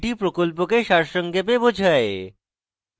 এটি প্রকল্পকে সারসংক্ষেপে বোঝায়